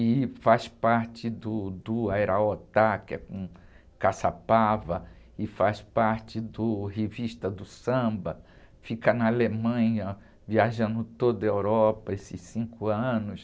e faz parte do, do, que é com Caçapava, e faz parte do Revista do Samba, fica na Alemanha, viajando toda a Europa esses cinco anos.